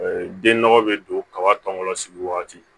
Den nɔgɔ bɛ don kaba tɔ sigi waati